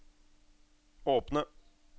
åpne